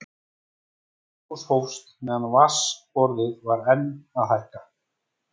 Eldgos hófst meðan vatnsborðið var enn að hækka.